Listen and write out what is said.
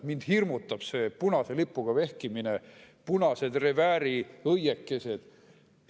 Mind hirmutab see punase lipuga vehkimine, punased revääriõiekesed.